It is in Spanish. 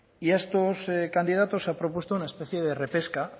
y a estos candidatos les han propuesto una especie de repesca han